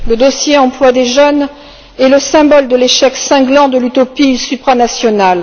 Le dossier emploi des jeunes est le symbole de l'échec cinglant de l'utopie supranationale.